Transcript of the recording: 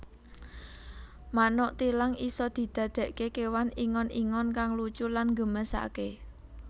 Manuk thilang isa didakake kewan ingon ingon kang lucu lan nggemesake